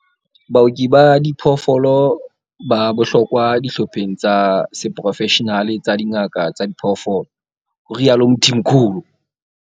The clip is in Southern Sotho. Baoki ba diphoofolo ba bohlokwa dihlopheng tsa seporofeshenale tsa dingaka tsa diphoofolo, ho rialo Mthimkhulu.